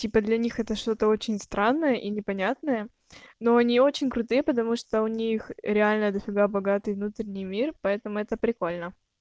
теперь для них это что-то очень странное и непонятное но они очень крутые потому что у них реально дофига богатый внутренний мир поэтому это прикольно